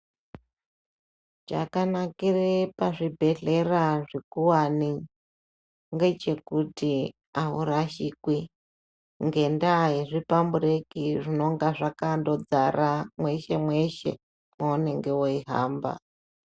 Chakanakire pazvibhedhlera zvikuwane ngechekuti aurashikwi ngendaya yezvipambureki zvinenge zvakangodzara mweshe mweshe maunenge weihamba.